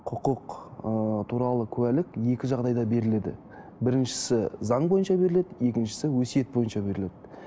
құқық ы туралы куәлік екі жағдайда беріледі біріншісі заң бойынша беріледі екіншісі өсиет бойынша беріледі